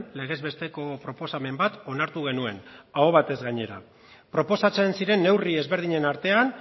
legez besteko proposamen bat onartu genuen aho batez gainera proposatzen ziren neurri ezberdinen artean